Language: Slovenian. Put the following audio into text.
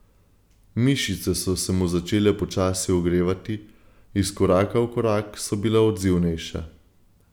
Mišice so se mu začele počasi ogrevati, iz koraka v korak so bile odzivnejše.